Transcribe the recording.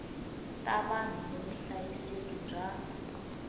ta vanhu ni vuhlayiseki bya